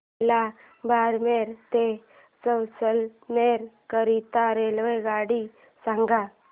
मला बारमेर ते जैसलमेर करीता रेल्वेगाडी सांगा